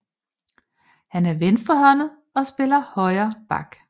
Han er venstrehåndet og spiller højre back